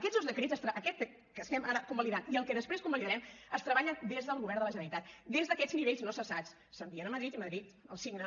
aquests dos decrets aquest que estem ara convalidant i el que després convalidarem es treballen des del govern de la generalitat des d’aquests nivells no cessats s’envien a madrid i madrid els signa